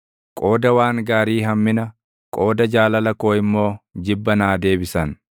Qooda waan gaarii hammina, qooda jaalala koo immoo jibba naa deebisan.